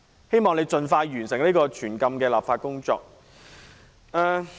希望你盡快完成這項全禁電子煙的立法工作。